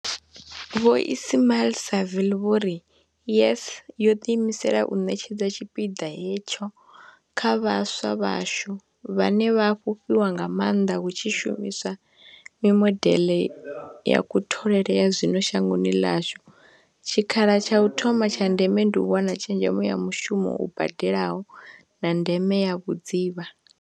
Vho Ismail-Saville vho ri, YES yo ḓiimisela u ṋetshedza tshipiḓa hetsho kha vhaswa vhashu, vhane vha a fhufhiwa nga maanḓa hu tshi shumi swa mimodeḽe ya kutholele ya zwino shangoni ḽashu, tshikhala tsha u thoma tsha ndeme ndi u wana tshezhemo ya mushumo u badelaho, na ndeme ya vhudzivha.